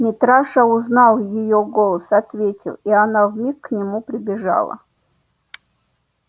митраша узнал её голос ответил и она вмиг к нему прибежала